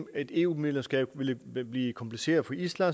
et eu medlemskab ville blive kompliceret for island